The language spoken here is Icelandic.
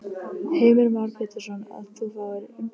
Heimir Már Pétursson: Að þú fáir umboðið?